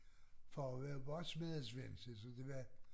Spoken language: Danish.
Far var bare smedesvend se så det var